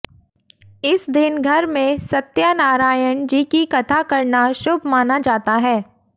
इस दिन घर में सत्यानारयण जी की कथा करना शुभ माना जाता है